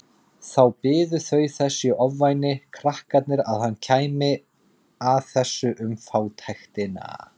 Þá biðu þau þess í ofvæni krakkarnir að hann kæmi að þessu um fátæktina.